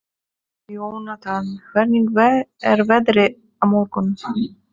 Jónatan, hvernig er veðrið á morgun?